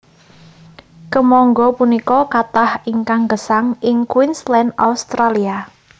Kèmangga punika kathah ingkang gèsang ing Queensland Australia